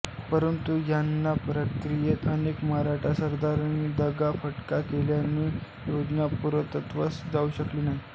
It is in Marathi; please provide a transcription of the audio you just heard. परंतु ह्या प्रक्रियेत अनेक मराठा सरदाारांनी दगा फटका केल्याने योजना पूर्णत्वास जाऊ शकली नाही